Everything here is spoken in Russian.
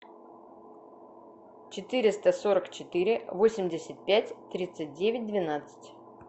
четыреста сорок четыре восемьдесят пять тридцать девять двенадцать